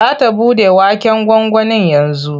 Za ta buɗe waken gwangwanin yanzu.